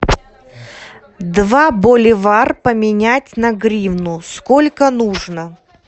два боливар поменять на гривну сколько нужно